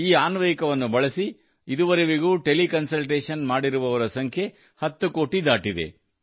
ಈ ಅನ್ವಯಿಕವನ್ನು ಬಳಸಿ ಇದುವರೆಗೂ ಟೆಲಿ ಕನ್ಸಲ್ಟೇಷನ್ ಮಾಡಿರುವವರ ಸಂಖ್ಯೆ 10 ಕೋಟಿ ದಾಟಿದೆ